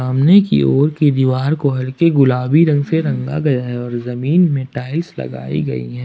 सामने की ओर के दीवार को हल्की गुलाबी रंग से रंग गया है और जमीन में टाइल्स लगाई गई है।